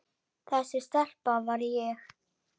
Þessi stelpa var ég.